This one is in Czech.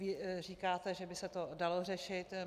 Vy říkáte, že by se to dalo řešit.